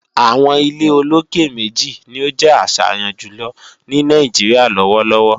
àwọn ilé olókè méjì ni ó jẹ́ àṣàyàn jùlọ ní Nàìjíríà lọ́wọ́lọ́wọ́.